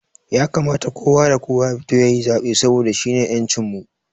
Ya kamata kowa da kowa ya fito yayi zaɓe saboda shine ƴancin mu